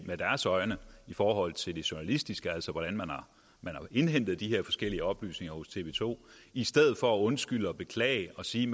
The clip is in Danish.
forhold til det journalistiske altså hvordan man har indhentet de her forskellige oplysninger hos tv to i stedet for at undskylde og beklage og sige